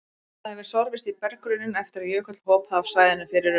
Það hefur sorfist í berggrunninn eftir að jökull hopaði af svæðinu fyrir um